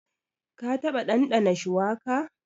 Ka taɓa ɗanɗana shuwaka?